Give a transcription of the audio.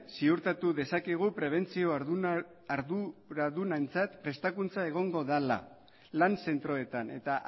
ziurtatu dezakegu prebentzio arduradunentzat prestakuntza egongo dela lan zentroetan eta